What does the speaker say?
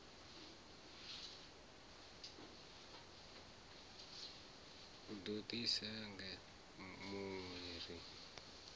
do di senga hunwe ri